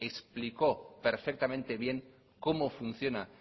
explicó perfectamente bien cómo funciona